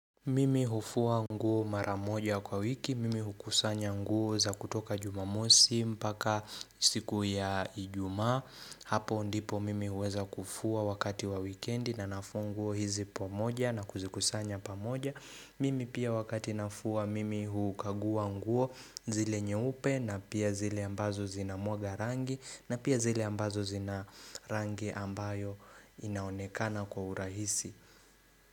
Mimi hufua nguo mara moja kwa wiki, mimi hukusanya nguo za kutoka jumamosi mpaka siku ya Ijumaa. Hapo ndipo mimi huweza kufua wakati wa wikendi na nafua nguo hizi pamoja na kuzikusanya pamoja Mimi pia wakati nafua mimi hukagua nguo zile nyeupe na pia zile ambazo zinamwaga rangi na pia zile ambazo zina rangi ambayo inaonekana kwa urahisi.